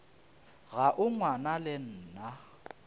ga o ngwana le nna